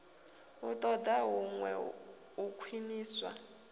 i ṱoḓa huṅwe u khwiṋiswa